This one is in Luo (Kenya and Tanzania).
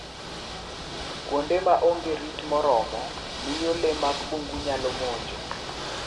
Kuonde ma onge rit moromo miyo le mag bungu nyalo monjo.